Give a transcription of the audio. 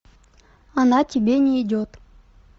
она тебе не идет